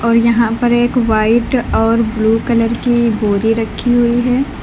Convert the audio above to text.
और यहां पर एक वाइट और ब्लू कलर की बोरी रखी हुई है।